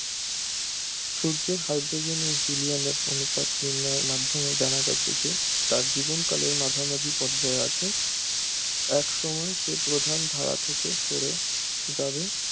সূর্যের হাইড্রোজেন ও হিলিয়ামের অনুপাত নির্ণয়ের মাধ্যমে জানা গেছে যে তার জীবনকালের মাঝামাঝি পর্যায়ে আছে এক সময় সে প্রধান ধারা থেকে সরে যাবে